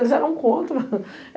Eles eram contra.